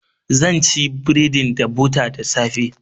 Zan ci bredin da bota da safe.